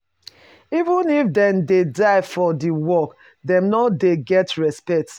Even if dem dey die for di work dem no de get respect